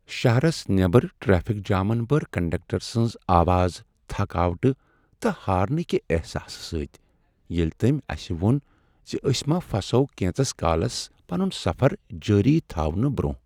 شہرس نیبر ٹریفک جامن بٔر کنڈکٹر سٕنٛز آواز تھکاوٹہٕ تہٕ ہارنہٕ کہ احساسہٕ سۭتۍ، ییٚلہ تٔمۍ اسہ ووٚن ز أسۍ ما پھسو کینژس کالس پنن سفر جٲری تھاونہٕ برٛۄنٛہہ۔